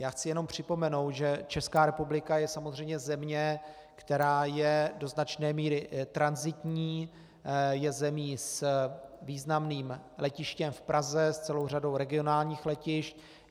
Já chci jenom připomenout, že Česká republika je samozřejmě země, která je do značné míry tranzitní, je zemí s významným letištěm v Praze, s celou řadou regionálních letišť.